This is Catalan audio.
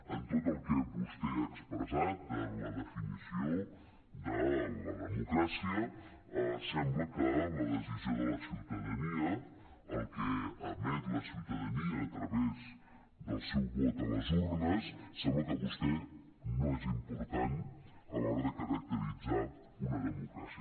en tot el que vostè ha expressat en la definició de la democràcia sembla que la decisió de la ciutadania el que emet la ciutadania a través del seu vot a les urnes sembla que per vostè no és important a l’hora de caracteritzar una democràcia